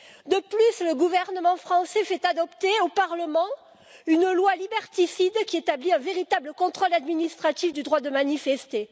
De plus, le gouvernement français fait adopter au parlement une loi liberticide qui établit un véritable contrôle administratif du droit de manifester.